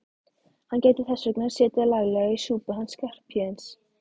Hann gæti þess vegna setið laglega í súpunni hann Skarphéðinn.